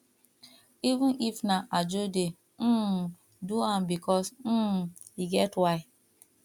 even if na ajo dey um do am bikos um e get why